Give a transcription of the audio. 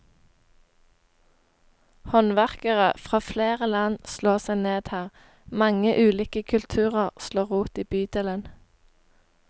Håndverkere fra flere land slår seg ned her, mange ulike kulturer slår rot i bydelen.